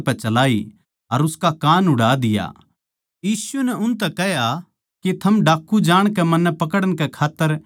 यीशु नै उनतै कह्या के थम डाकू जाणकै मन्नै पकड़न कै खात्तर तलवार अर लाट्ठी लेकै लिकड़े सो